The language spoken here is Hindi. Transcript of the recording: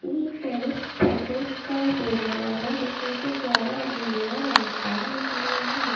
ये एक फेरिस पेट्ल्स का बोर्ड लगा हुआ है जिसके नीचे फ्लावर एनीवेयर एनीटाइम लिखा हुआ है।